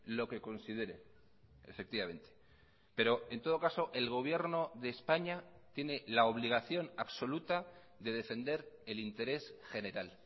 lo que considere efectivamente pero en todo caso el gobierno de españa tiene la obligación absoluta de defender el interés general